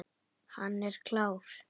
Hann er klár.